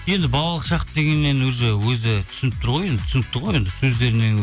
енді балалық шақ дегеннен уже өзі түсініп тұр ғой енді түсінікті ғой енді сөздерінен